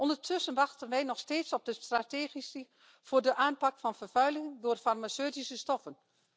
Ondertussen wachten wij nog steeds op een strategie voor de aanpak van vervuiling door farmaceutische stoffen.